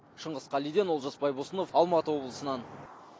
шыңғыс қалиден олжас байбосынов алматы облысынан